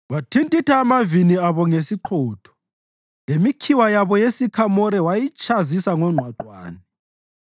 Wathintitha amavini abo ngesiqhotho lemikhiwa yabo yesikhamore wayitshazisa ngongqwaqwane.